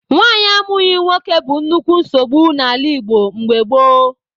Nwaanyị amụghị nwoke bụ nnukwu nsogbu n'ala Igbo mgbe gboo.